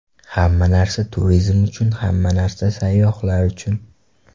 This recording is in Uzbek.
Hamma narsa turizm uchun, hamma narsa sayyohlar uchun!